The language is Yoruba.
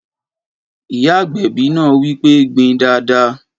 Ìyá agbẹ̀bi náà wí pé gbin dáadáa!